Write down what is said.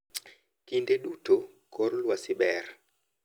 Kinde duto kor lwasi ber.